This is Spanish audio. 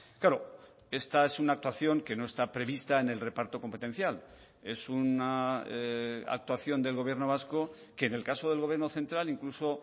claro esta es una actuación que no está prevista en el reparto competencial es una actuación del gobierno vasco que en el caso del gobierno central incluso